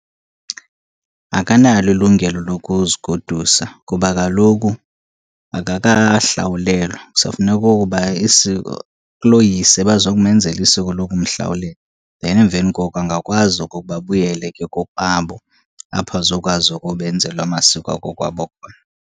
Akanalo ilungelo lokuzigodusa kuba kaloku akakahlawulelwa, kusafuneka okokuba isiko, kuloyise bazokumenzela isiko lokumhlawulela. Then emveni koko angakwazi okokuba abuyele ke kokwabo apho azokwazi okoba enzelwe amasiko akokwabo khona.